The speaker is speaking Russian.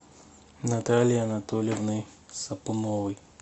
наталией анатольевной сапуновой